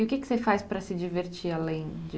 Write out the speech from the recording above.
E o que você faz para se divertir além de...